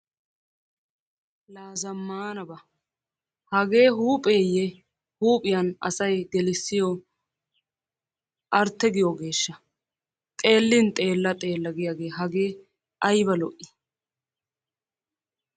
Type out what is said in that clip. La zammaanaba hagee huupheeyye huuphiyan asayi gelissiyo artte giyoogeeshsha xeellin xeella xeella giyagee hagee ayba lo"ii.